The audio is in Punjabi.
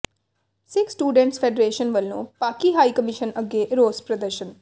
ਸਿੱਖ ਸਟੂਡੈਟਸ ਫੈਡਰੇਸ਼ਨ ਵੱਲੋਂ ਪਾਕਿ ਹਾਈ ਕਮਿਸ਼ਨ ਅੱਗੇ ਰੋਸ ਪ੍ਰਦਰਸ਼ਨ